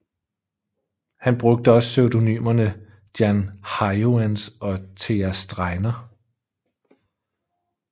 Han brugte også pseudonymerne Jan Hyoens og Thea Streiner